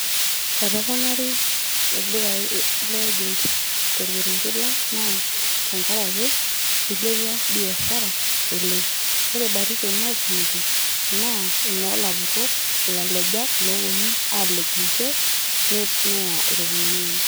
Etoponari ildukai le agent torkerenket lang',naa tenkaraki ilepua biashara oleng'. Ore batisho natumito, naa inoo lapurrok ilalejak loponu alej ninche, neya iropiyiani enye.